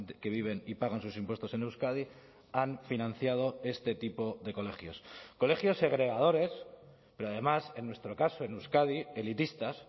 que viven y pagan sus impuestos en euskadi han financiado este tipo de colegios colegios segregadores pero además en nuestro caso en euskadi elitistas